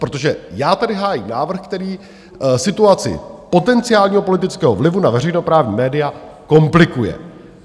Protože já tady hájím návrh, který situaci potenciálního politického vlivu na veřejnoprávní média komplikuje.